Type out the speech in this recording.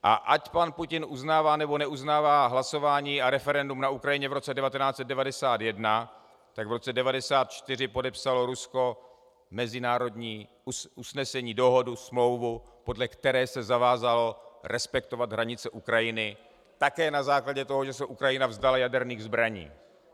A ať pan Putin uznává, nebo neuznává hlasování a referendum na Ukrajině v roce 1991, tak v roce 1994 podepsalo Rusko mezinárodní usnesení, dohodu, smlouvu, podle které se zavázalo respektovat hranice Ukrajiny také na základě toho, že se Ukrajina vzdala jaderných zbraní.